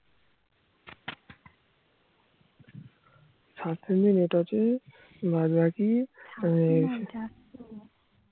সাতশো MB net আছে বাদবাকি